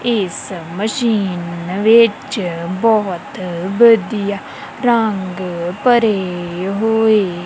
ਇਸ ਮਸ਼ੀਨ ਵਿੱਚ ਬਹੁਤ ਵਧੀਆ ਰੰਗ ਭਰੇ ਹੋਏ--